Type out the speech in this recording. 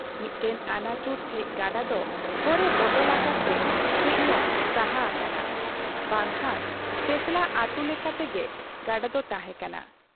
ᱢᱤᱫᱴᱟᱝ ᱟᱹᱱᱟᱹᱪᱩᱨ ᱴᱷᱮᱫ ᱜᱟᱰᱟ ᱫᱚ ᱦᱚᱨᱮ ᱵᱚᱫᱚᱞ ᱟᱠᱟᱫ ᱟᱠᱟᱫ ᱛᱮ ᱠᱟᱹᱡ ᱧᱚᱜ ᱥᱟᱦᱟ ᱦᱟᱠᱟᱱᱟ , ᱵᱟᱝᱠᱷᱟᱱ ᱛᱮᱸᱛᱞᱟ ᱟᱛᱩ ᱞᱮᱠᱟ ᱛᱮᱜᱮ ᱜᱟᱰᱟ ᱫᱚ ᱛᱟᱦᱮᱸ ᱠᱟᱱᱟ ᱾